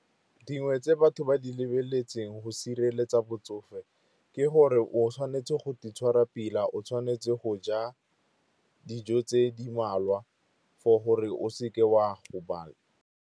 Dingwe tse batho ba di lebeletseng go sireletsa botsofe ke gore o tshwanetse go itshwara pila, o tshwanetse go ja dijo tse di mmalwa for gore o seke wa gobala.